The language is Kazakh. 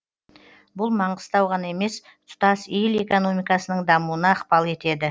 бұл маңғыстау ғана емес тұтас ел экономикасының дамуына ықпал етеді